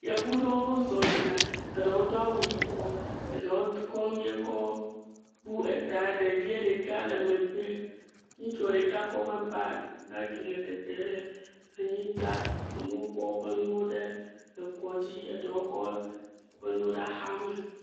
Yevu ɖewo zɔ yina, eɖewo do awu yibɔ, eɖewo kɔ nu yie kɔ bu eta, ɖevie ɖeka le megbe, ŋutsua ɖeka kɔ eƒe bag bagi le tete le anyigba, amewo kɔ woƒe nuwo ɖe ekɔdzi, eɖewo kɔ woƒe nuwo ɖe axame.